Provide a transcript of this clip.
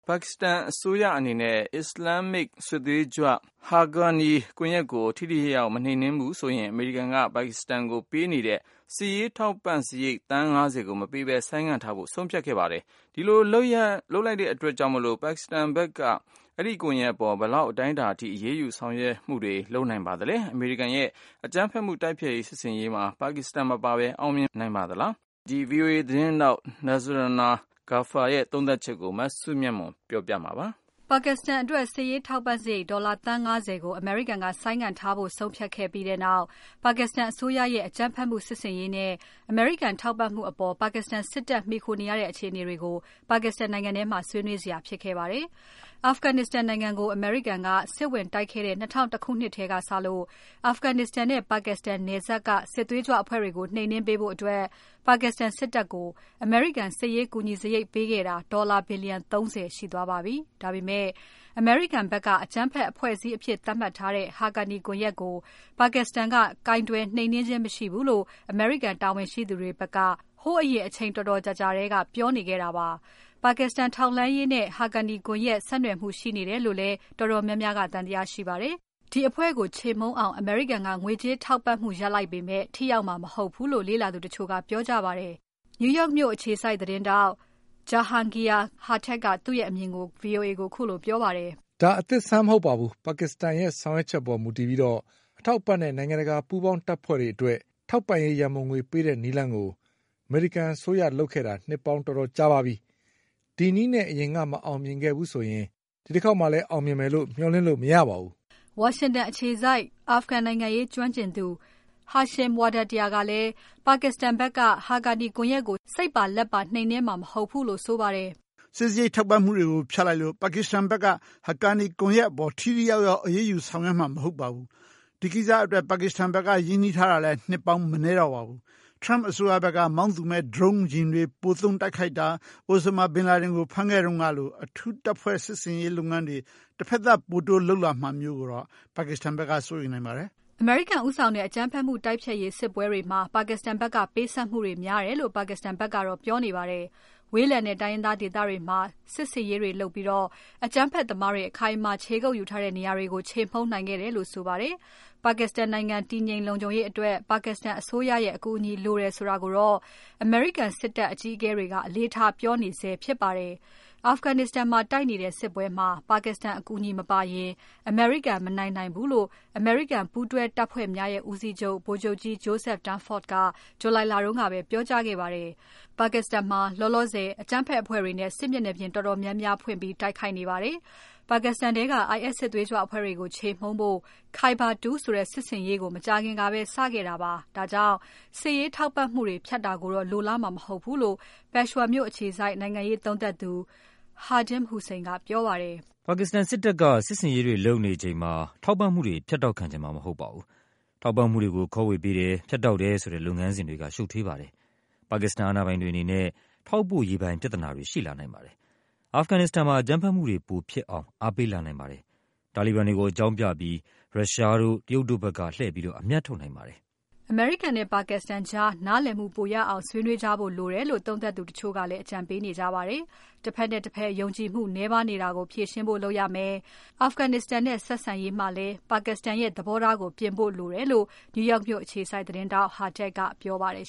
ပါကစ္စတန်အစိုးရအနေနဲ့ အစ္စလာမ်မစ် စစ်သွေးကြွ Haqqani ကွန်ယက်ကို ထိထိရောက်ရောက် မနှိမ်နှင်းဘူးဆိုပြီး အမေရိကန်က ပါကစ္စတန်ကိုပေးနေတဲ့ စစ်ရေးထောက်ပံ့စားရိတ် သန်း ၅၀ ကိုမပေးဘဲ ဆိုင်းထားဖို့ဆုံးဖြတ်ခဲ့ပါတယ်။ အဲဒီလိုလုပ်လိုက်တဲ့အတွက် ပါကက်စတန်ဖက်က Haqqani ကွန်ယက်အပေါ် ဘယ်လောက်အတိုင်းအတာအထိ အရေးယူဆောင်ရွက်မှုတွေ လုပ်လာနိုင်ပါသလဲ။ အမေရိကန်ရဲ့ အကြမ်းဖက်မှုတိုက်ဖျက်ရေးစစ်ဆင်ရေးမှာ ပါကစ္စတန်မပါဘဲ အောင်မြင်နိုင်ပါသလား။ သတင်းထောက် Nazrana Ghaffar ရဲ့ သုံးသပ်ချက်ကို မစုမြတ်မွန်က တင်ပြပါမယ်။ ပါကစ္စတန်အတွက် စစ်ရေးထောက်ပံ့စားရိတ် ဒေါ်လာသန်း ၅၀ ကိုအမေရိကန်က ဆိုင်းငံ့ထားဖို့ဆုံးဖြတ်ခဲ့ပြီးနောက် ပါကစ္စတန်အစိုးရရဲ့ အကြမ်းဖက်မှုစစ်ဆင်ရေးနဲ့ အမေရိကန်ထောက်ပံ့မှုအပေါ် ပါကစ္စတန်စစ်တပ်မှီခိုနေရတဲ့ အခြေအနေတွေကို ပါကစ္စတန်ထဲမှာ ဆွေးနွေးစရာဖြစ်ခဲ့ပါတယ်။ Afghanistan နိုင်ငံကို အမေရိကန်က စစ်ဝင်တိုက်ခဲ့တဲ့ ၂၀၀၁ ခုနှစ်ကစလို့ Afghanistan နဲ့ ပါကစ္စတန်နယ်စပ်က စစ်သွေးကြွအဖွဲ့တွေကို ကူညီနှိမ်နှင်းပေးဖို့ ပါကစ္စတန်စစ်တပ်ကို အမေရိကန်က စစ်ရေးကူညီစားရိတ်ပေးခဲ့တာ ဒေါ်လာဘီလျံ ၃၀ ရှိသွားပါပြီ။ ဒါပေမဲ့ အမေရိကန်ဖက်က အကြမ်းဖက်အဖွဲ့အစည်းအဖြစ်သတ်မှတ်ထားတဲ့ Haqqani ကွန်ယက်ကို ပါကစ္စတန်က ကိုင်တွယ်နှိမ်နှင်းခြင်းမရှိဘူးလို့ အမေရိကန်တာဝန်ရှိသူတွေဘက်က ဟိုးအရင် အချိန်တော်တော်ကြာကြာထဲက ပြောနေခဲ့တာပါ။ ပါကစ္စတန်ထောက်လှမ်းရေးနဲ့ Haqqani ကွန်ယက် ဆက်နွယ်မှုရှိနေတယ်လို့လည်း တော်တော်များများ သံသယရှိကြပါတယ်။ ဒီအဖွဲ့ကို ချေမှုန်းအောင် အမေရိကန်က ငွေကြေးထောက်ပံ့မှုရပ်လိုက်ပေမဲ့ ထိရောက်မှာ မဟုတ်ဘူးလို့ လေ့လာသူတချို့က ပြောကြပါတယ်။ New York မြို့အခြေစိုက် သတင်းထောက် Jahangir Khattak ကသူ့ရဲ့အမြင်ကို VOA ကိုခုလိုပြောပါတယ်။ "ဒါအသစ်အဆန်းမဟုတ်ပါဘူး။ ပါကစ္စတန်ရဲ့ဆောင်ရွက်ချက်ပေါ်မူတည်ပြီး အထောက်အပံ့နဲ့ နိုင်ငံတကာပူးပေါင်းတပ်ဖွဲ့တွေအတွက် ထောက်ပံ့ရေးရန်ပုံငွေပေးတဲ့ နည်းလမ်းကို အမေရိကန်အစိုးရ လုပ်ခဲ့တာနှစ်ပေါင်းတော်တော်ကြာခဲ့ပါပြီ။ ဒီနည်းနဲ့ အရင်ကမအောင်မြင်ခဲ့ဘူးဆိုရင် ဒီတခေါက်မှာ အောင်မြင်မယ်လို့ မျှော်လင့်လို့ မရပါဘူး။" ဝါရှင်တန်အခြေစိုက် Afghan နိုင်ငံရေးကျွမ်းကျင်သူ Hashim Wahdatyar ကလည်း ပါကက်စတန်ဖက်က Haqqani ကွန်ယက်ကို စိတ်ပါလက်ပါ နှိမ်နှင်းမှာ မဟုတ်ဘူးလို့ဆိုပါတယ်။ "စစ်စားရိတ်ထောက်ပံ့မှုတွေဖြတ်လိုက်လို့ ပါကစ္စတန်ဘက်က Haqqani ကွန်ယက်အပေါ် ထိထိရောက်ရောက် အရေးယူဆောင်ရွက်မှာမဟုတ်ပါဘူး။ ဒီကိစ္စအတွက် ပါကစ္စတန်ဘက်က ရင်းနှီးထားတာလည်း နှစ်ပေါင်းမနည်းတော့ပါဘူး။ Trump အစိုးရbက်က မောင်းသူမဲ့ Drone ယာဉ်တွေပိုသုံး တိုက်ခိုက်တာ။ Osama bin Laden ကိုဝင်ဖမ်းခဲ့တုန်းကလို အထူးတပ်ဖွဲ့စစ်ဆင်ရေးလုပ်ငန်းတွေ တဖက်သတ် ပိုတိုးလုပ်လာမှာမျိုးကိုတော့ပါကစ္စတန်ဘက်က စိုးရိမ်နိုင်ပါတယ်။" အမေရိကန်ဦးဆောင်တဲ့ အကြမ်းဖက်မှုတိုက်ဖျက်ရေးစစ်ပွဲတွေမှာ ပါကစ္စတန်ဘက်က ပေးဆပ်မှုတွေများတယ်လို့ ပါကစ္စတန်ဘက်ကတော့ ပြောနေပါတယ်။ ဝေးလံတဲ့ တိုင်းရင်းဒေသတွေမှာ စစ်ဆင်ရေးတွေလုပ်ပြီး အကြမ်းဖက်သမားတွေ အခိုင်အမာခြေကုပ် ယူထားတဲ့နေရာတွေကို ခြေမှုန်းနိုင်ခဲ့တယ်လို့ဆိုပါတယ်။ Afghanistan နိုင်ငံတည်ငြိမ် လုံခြုံရေးအတွက်ပါကစ္စတန်အစိုးရရဲ့ အကူအညီလိုတယ် ဆိုတာကိုတော့ အမေရိကန်စစ်တပ်အကြီးအကဲတွေက အလေးထားပြောနေ ဆဲဖြစ်ပါတယ်။ Afghanistan မှာတိုက်နေတဲ့စစ်ပွဲမှာပါကစ္စတန်အကူအညီမပါရင် အမေရိကန် မနိုင်နိုင်ဘူးလို့ အမေရိကန်ပူးတွဲတပ်ဖွဲ့များရဲ့ဦးစီးချုပ် ဗိုလ်ချုပ်ကြီး Joseph Dunford က July လတုန်းကပဲ ပြောကြားခဲ့ပါတယ်။ ပါကစ္စတန်မှာ လောလောဆယ် အကြမ်းဖက်အဖွဲ့တွေနဲ့ စစ်မျက်နှာပြင်တော်တော်များများ ဖွင့်တိုက်ခိုက်နေပါတယ်။ ပါကစ္စတန်ထဲက IS စစ်သွေးကြွအဖွဲ့ကို ခြေမှုန်းဖို့ Khyber-2 ဆိုတဲ့စစ်ဆင်ရေးကို မကြာခင်ကပဲစခဲ့တာပါ။ ဒါကြောင့် စစ်ရေးထောက်ပံ့မှုတွေ ဖြတ်တာကိုတော့ လိုလားမှာမဟုတ်ဘူးလို့ Peshawar မြို့အခြေစိုက်နိုင်ငံရေးသုံးသပ်သူ Khadim Hussain ကပြောပါတယ်။ "ပါကစ္စတန်စစ်တပ်က စစ်ဆင်ရေးတွေလုပ်နေချိန်မှာ ထောက်ပံ့မှုတွေ ဖြတ်တောက် ခံချင်မှာမဟုတ်ပါဘူး။ ထောက်ပံ့မှုတွေကို ခွဲဝေပေးတယ်။ ဖြတ်တောက်တယ် ဆိုတဲ့လုပ်ငန်းစဉ်တွေက ရှုပ်ထွေးပါတယ်။ ပါကစ္စတန်အာဏာပိုင်တွေအနေနဲ့ ထောက်ပို့ရေးပိုင်း ပြဿနာတွေ ရှိလာနိုင်ပါတယ်။ Afghanistan မှာအကြမ်းဖက်မှုတွေ ပိုဖြစ်အောင် အားပေးလာနိုင်ပါတယ်။ တာလီဘန်တွေကို အကြောင်းပြပြီး ရုရှားတို့ တရုတ်တု့ိbက်က လှည့်အမြတ်ထုတ်နိုင်ပါတယ်။" အမေရိကန်နဲ့ ပါကစ္စတန်ကြား နားလည်မှုပိုရနိုင်အောင် ဆွေးနွေးကြဖို့လိုတယ်လို့ သုံးသပ်သူတချို့ကလည်း အကြံပေးနေကြပါတယ်။ တဖက်နဲ့တဖက် ယုံကြည်မှု နည်းပါးနေတာကို ဖြေရှင်းနိုင်ဖို့လုပ်ရမယ်။ Afghanistan နဲ့ဆက်ဆံရေး မှာလည်းပါကစ္စတန်ရဲ့ သဘောထားကိုပြင်ဖို့လိုတယ်လို့ နယူးယောက်မြို့အခြေစိုက် သတင်းထောက် Khattak ကပြောပါတယ်